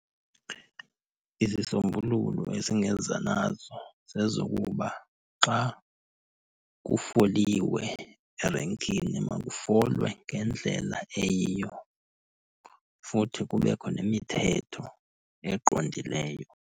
Izisombululo esingeza nazo zezokuba xa kufoliwe erenkini makufolwe ngendlela eyiyo futhi kubekho nemithetho eqondileyo.